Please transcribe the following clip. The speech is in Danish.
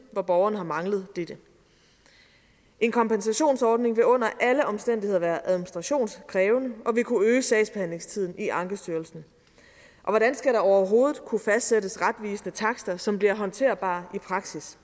hvor borgeren har manglet dette en kompensationsordning vil under alle omstændigheder være administrationskrævende og vil kunne øge sagsbehandlingstiden i ankestyrelsen og hvordan skal der overhovedet kunne fastsættes retvisende takster som bliver håndterbare i praksis